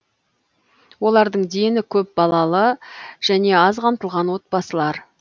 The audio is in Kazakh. олардың дені көп балалы және аз қамтылған отбасылар